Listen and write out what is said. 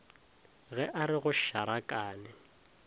ge a re go šarakane